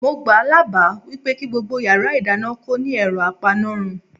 Mo gbáà lábàá wípé kí gbogbo yàrá ìdáná kó ní ẹ̀rọ apanárun.